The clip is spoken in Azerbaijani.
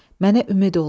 Mənə ümid oldu.